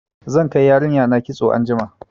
Zan kai yarinya na kitso anjima.